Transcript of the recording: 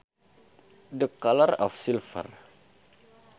The colour of silver